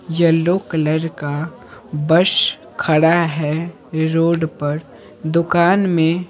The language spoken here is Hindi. येलो कलर का बस खड़ा है रोड पर दुकान में--